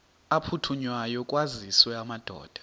aphuthunywayo kwaziswe amadoda